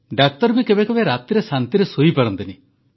ଡାକ୍ତର ବି କେବେ କେବେ ରାତିରେ ଶାନ୍ତିରେ ଶୋଇ ପାରନ୍ତିନି